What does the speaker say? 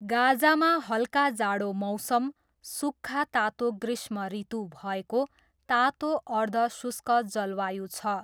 गाजामा हल्का जाडो मौसम, सुक्खा तातो ग्रीष्मऋतु भएको तातो अर्ध शुष्क जलवायु छ।